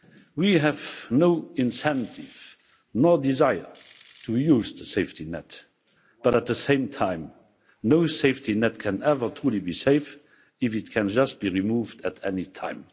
We have no incentive nor desire to use the safety net, but at the same time, no safety net can ever truly be safe if it can just be removed at any time.